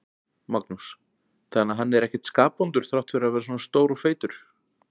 Magnús: Þannig að hann er ekkert skapvondur þrátt fyrir að vera svona stór og feitur?